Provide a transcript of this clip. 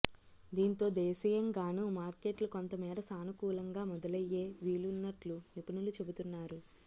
దీంతో దేశీయంగానూ మార్కెట్లు కొంతమేర సానుకూలంగా మొదలయ్యే వీలున్నట్లు నిపుణులు చెబుతున్నారు